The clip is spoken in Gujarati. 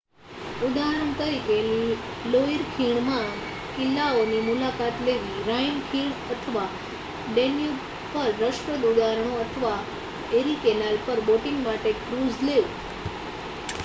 ઉદાહરણ તરીકે લોઈર ખીણમાં કિલ્લાઓની મુલાકાત લેવી રાઈન ખીણ અથવા ડેન્યુબ પર રસપ્રદ ઉદાહરણો અથવા એરિ કેનાલ પર બોટિંગ માટે ક્રૂઝ લેવું